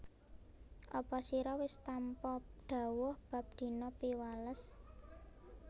Apa sira wis tampa dhawuh bab dina Piwales